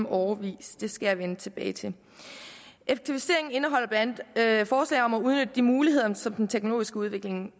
årevis det skal jeg vende tilbage til effektiviseringen indeholder blandt andet forslag om at udnytte de muligheder som den teknologiske udvikling